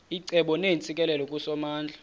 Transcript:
icebo neentsikelelo kusomandla